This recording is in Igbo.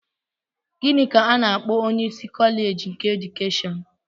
Gịnị ka a na-akpọ onyeisi kọleeji keedukeshọn?